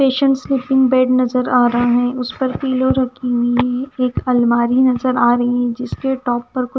patient sleeping bed नजर आ रहा है उस पर पिलो रखी हुई हैं एक अलमारी नजर आ रही है जिसके टॉप पर--